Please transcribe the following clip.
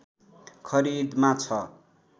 खरिदमा छ